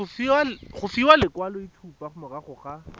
go fiwa lekwaloitshupo morago ga